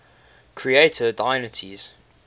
creator deities